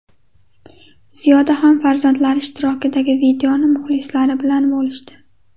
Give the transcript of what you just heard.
Ziyoda ham farzandlari ishtirokidagi videoni muxlislari bilan bo‘lishdi.